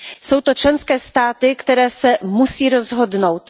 Jsou to členské státy, které se musí rozhodnout.